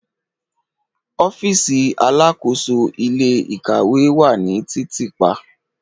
Ọfiisi alakoso ile-ikawe wa ni titiipa